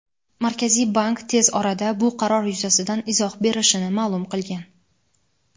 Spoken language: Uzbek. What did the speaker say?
Markaziy bank tez orada bu qaror yuzasidan izoh berishini ma’lum qilgan.